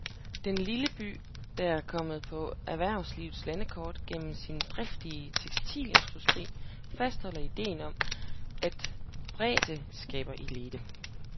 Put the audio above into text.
Den lille by, der er kommet på erhvervslivets landkort gennem sin driftige tekstilindustri, fastholder idéen om, at bredde skaber elite.